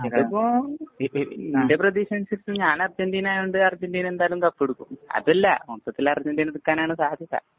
അതിപ്പോ എന്‍റെ പ്രതീക്ഷയനുസരിച്ച് ഞാന്‍ അര്‍ജന്‍റീന ആയോണ്ട് അര്‍ജന്‍റീന എന്തായാലും തപ്പിയെടുക്കും. അതല്ല, മൊത്തത്തില്‍ അര്‍ജന്‍റീനഎടുക്കാനാണ് സാധ്യത.